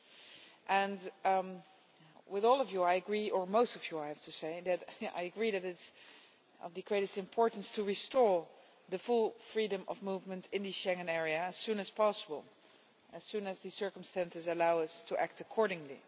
I agree with all of you or most of you, I have to say that it is of the greatest importance to restore full freedom of movement in the Schengen area as soon as possible and as soon as the circumstances allow us to act accordingly.